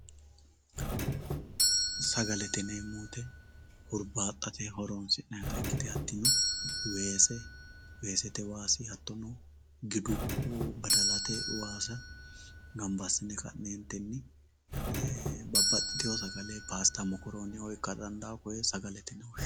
Sagalete yineemo woyite hirbaxate horonsinani ikite hatino weese weeseye waasi hatono gidu badalaye waasa ganba asine kanentini babaxitewo sagale pasta mokorone ikitara dandiitano.